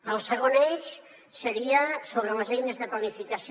el segon eix seria sobre les eines de planificació